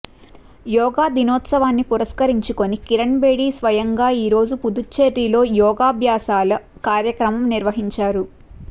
యోగా దినోత్సవాన్ని పురస్కరించుకొని కిరణ్ బేడి స్వయంగా ఈరోజు పుదుచ్చేరిలో యోగాబ్యాసాల కార్యక్రమం నిర్వహించారు